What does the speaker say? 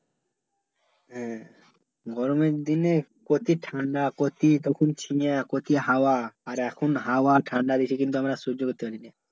হ্যাঁ গরমের দিনে কচি ঠাণ্ডা কচি তখন ছিয়া কচি হাওয়া আর এখন হাওয়া ঠাণ্ডা বেশি কিন্তু আমারা সহ্য করতে পারি না